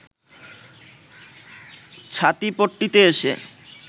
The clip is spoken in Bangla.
ছাতিপট্টিতে এসে